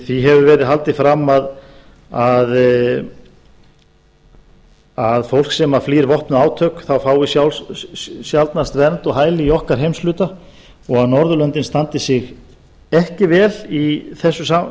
því hefur verið haldið fram að fólk sem flýr vopnuð átök fái sjaldnast vernd og hæli í okkar heimshluta og að norðurlöndin standi sig ekki vel í þessu